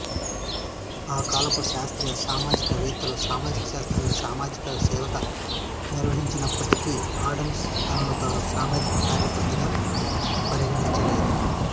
ఆ కాలపు శాస్త్రీయ సామాజికవేత్తలు సామాజిక శాస్త్రాన్ని సామాజిక సేవగా నిర్వచించినప్పటికీ అడ్డమ్స్ తనను తాను సామాజిక కార్యకర్తగా పరిగణించలేదు